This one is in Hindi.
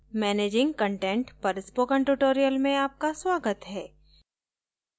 managing content पर spoken tutorial में आपका स्वागत है